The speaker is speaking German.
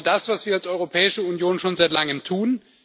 Das ist genau das, was wir als Europäische Union schon seit Langem tun.